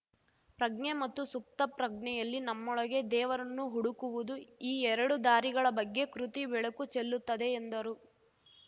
ಪ್ರಜ್ಞೆ ಮತ್ತು ಸುಪ್ತಪ್ರಜ್ಞೆಯಲ್ಲಿ ನಮ್ಮೊಳಗೆ ದೇವರನ್ನು ಹುಡುಕುವುದು ಈ ಎರಡು ದಾರಿಗಳ ಬಗ್ಗೆ ಕೃತಿ ಬೆಳಕು ಚೆಲ್ಲುತ್ತದೆ ಎಂದರು